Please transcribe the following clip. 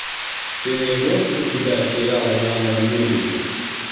ты найдешь у себя сериал жанра мюзикл